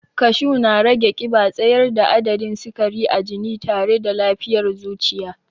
Kashu na rage ƙiba, tsayar da adadin sikari a jini tare da lafiyar zuciya.